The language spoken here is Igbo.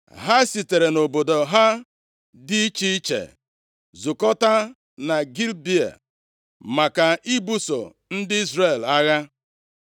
Ha sitere nʼobodo ha dị iche iche zukọtaa na Gibea maka ibuso ndị Izrel agha.